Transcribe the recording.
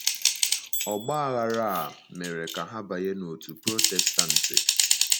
Ọgba aghara a mere ka ha banye n’òtù Protestantị.